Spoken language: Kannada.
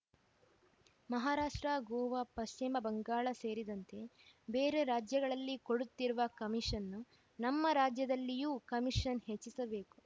ಮಹಾರಾಷ್ಟ್ರ ಗೋವಾ ಪಶ್ಚಿಮ ಬಂಗಾಳ ಸೇರಿದಂತೆ ಬೇರೆ ರಾಜ್ಯಗಳಲ್ಲಿ ಕೊಡುತ್ತಿರುವ ಕಮೀಷನ್‌ನ್ನು ನಮ್ಮ ರಾಜ್ಯದಲ್ಲಿಯೂ ಕಮೀಷನ್‌ ಹೆಚ್ಚಿಸಬೇಕು